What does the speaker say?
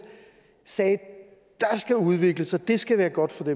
sagde der skal udvikles og det skal være godt for